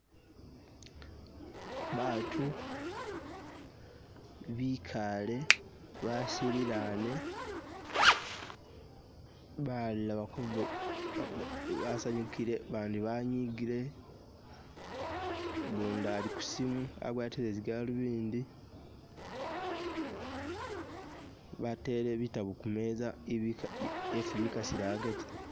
Baatu bikaale wasililaane, balala bali ku.. basanyukile babandi banyigile gundi ali kusimu agwatile zigaluvindi bateele bitaabu kumeeza ibi yesi bikasila agaati